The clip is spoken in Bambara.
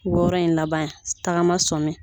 Wɔɔrɔ in laban tagama sɔmi